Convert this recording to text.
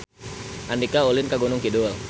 Andika ulin ka Gunung Kidul